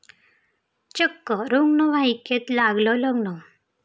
चक्क रुग्णवाहिकेत लागलं लग्न!